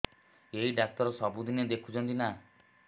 ଏଇ ଡ଼ାକ୍ତର ସବୁଦିନେ ଦେଖୁଛନ୍ତି ନା